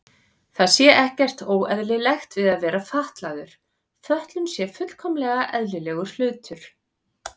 Það sé ekkert óeðlilegt við að vera fatlaður, fötlun sé fullkomlega eðlilegur hlutur.